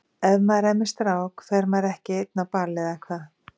Ef maður er með strák fer maður ekki einn á ball, eða hvað?